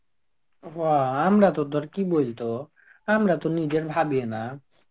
হ আমরা তো তোর কি বলতো আমরা তো নিজের ভাবিও না.